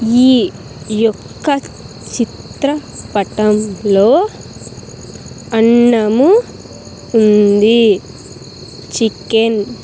ఈ యొక్క చిత్రపటంలో అన్నము ఉంది చికెన్ .